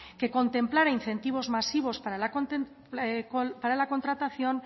que contemplara incentivos masivos para la contratación